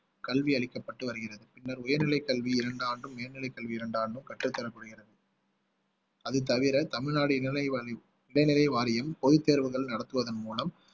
கல்வி அளிக்கப்பட்டு வருகிறது பின்னர் உயர்நிலை கல்வி இரண்டு ஆண்டும் உயர்நிலை கல்வி இரண்டு ஆண்டும் கற்றுத்தரப்படுகிறது அது தவிர தமிழ்நாடு இடைநிலை வாரியம் இடைநிலை வாரியம் பொதுத்தேர்வுகள் நடத்துவதன் மூலம்